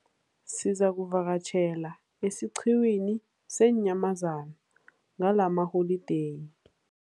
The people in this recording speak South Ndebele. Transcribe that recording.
Sizakuvakatjhela esiqhiwini seenyamazana ngalamaholideyi.